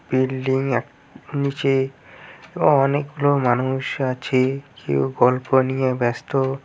Building এক নিচে অনেকগুলো মানুষ আছে কেউ গল্প নিয়ে ব্যস্ত।